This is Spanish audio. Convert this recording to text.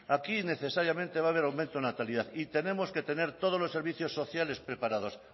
aquí necesariamente va a ver aumento natalidad y tenemos que tener todos los servicios sociales preparados